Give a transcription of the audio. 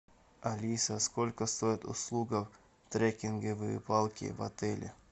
алиса сколько стоит услуга трекинговые палки в отеле